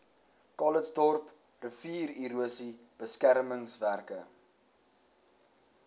calitzdorp riviererosie beskermingswerke